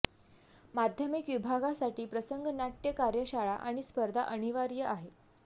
माध्यमिक विभागासाठी प्रसंग नाट्य कार्यशाळा आणि स्पर्धा अनिवार्य आहे